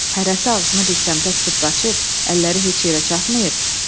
Hərəsi ağzını bir səmtə tutub qaçıb, əlləri heç yerə çatmayıb.